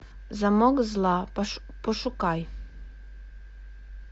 замок зла пошукай